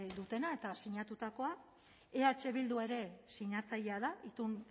dutena eta sinatutakoa eh bildu ere sinatzailea da